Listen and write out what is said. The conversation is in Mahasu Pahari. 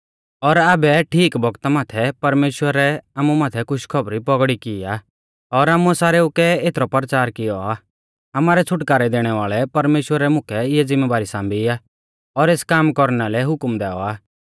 और आबै ठीक बौगता माथै परमेश्‍वरै आमु माथै खुशखौबरी पौगड़ी की आ और आमुऐ सारेऊ कै एथरौ परचार कियौ आ आमारै छ़ुटकारै दैणै वाल़ै परमेश्‍वरै मुकै इऐ ज़िम्मेबारी सांबी आ और एस काम कौरना लै हुकम दैऔ आ